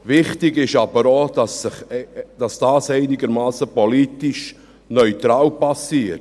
Wichtig ist aber auch, dass dies politisch einigermassen neutral geschieht.